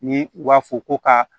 Ni u b'a fɔ ko ka